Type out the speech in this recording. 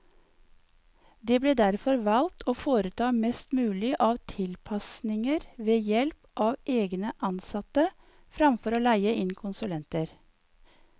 Det ble derfor valgt å foreta mest mulig av tilpasninger ved help av egne ansatte, fremfor å leie inn konsulenter.